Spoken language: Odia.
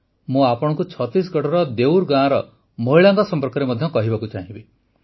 ମୁଁ ଆପଣଙ୍କୁ ଛତିଶଗଡ଼ର ଦେଉର ଗାଁର ମହିଳାଙ୍କ ସମ୍ପର୍କରେ ମଧ୍ୟ କହିବାକୁ ଚାହିଁବି